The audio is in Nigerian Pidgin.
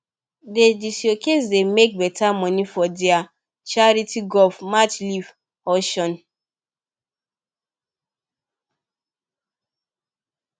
dey diocese dey make beta money for their charity golf match leave auction